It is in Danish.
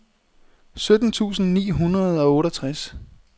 sytten tusind ni hundrede og otteogtres